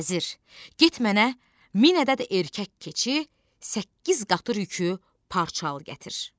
Vəzir, get mənə min ədəd erkək keçi, səkkiz qatır yükü parça al gətir.